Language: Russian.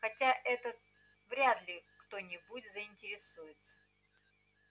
хотя это вряд ли кто-нибудь заинтересуется